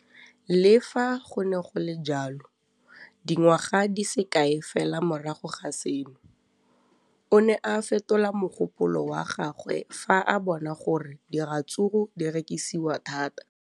Le fa go le jalo, dingwaga di se kae fela morago ga seno, o ne a fetola mogopolo wa gagwe fa a bona gore diratsuru di rekisiwa thata.